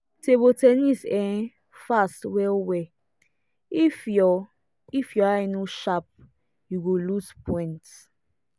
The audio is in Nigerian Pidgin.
table ten nis um fast well-well if your if your eye no sharp you go lose point.